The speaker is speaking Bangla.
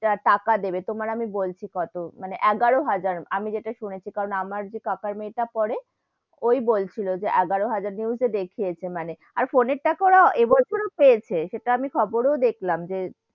টাকা দেবে, তোমার আমি বলছি কত, মানে এগারো হাজার আমি যেটা শুনেছি কারণ আমার যে কাকার মেয়ে টা পড়ে, ওই বলছিলো এগারো হাজার news এ দেখিয়েছে মানে, আর ফোনের টাকা োর এ বছর ও পেয়েছে, সেটা আমি খবর ও দেখলাম যে,